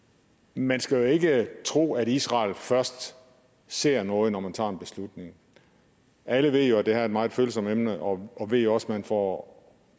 man skal jo ikke tro at israel først ser noget når man tager en beslutning alle ved jo at det her er et meget følsomt emne og ved også at man får